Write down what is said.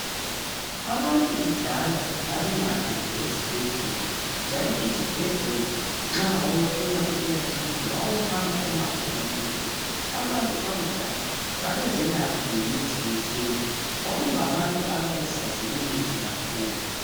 Abantu kudala abbengahambi ezibhedlela njalo izibhedlela nxa wawufuna ukuya kizo wawuhamba umango omude abantu bakudala babezelapha ngemithi yesintu kwakungabantu ababesazi imithi kakhulu